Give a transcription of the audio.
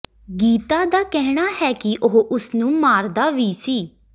ਗੀਤਾ ਦਾ ਕਹਿਣਾ ਹੈ ਕਿ ਉਹ ਉਸਨੂੰ ਮਾਰਦਾ ਵੀ ਸੀ